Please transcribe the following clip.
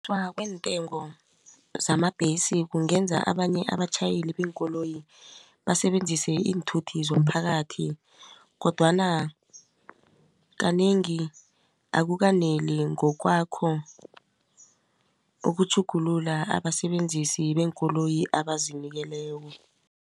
kweentengo zamabhesi kungenza abanye abatjhayeli beenkoloyi basebenzise iinthuthi zomphakathi kodwana kanengi akukaneli ngokwakho ukutjhugulula abasebenzisi beenkoloyi abazinikeleko.